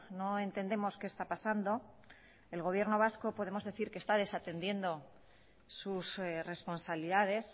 no entendemos qué está pasando el gobierno vasco podemos decir que está desatendiendo sus responsabilidades